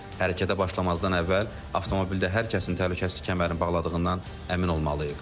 Hərəkətə başlamazdan əvvəl avtomobildə hər kəsin təhlükəsizlik kəmərini bağladığından əmin olmalıyıq.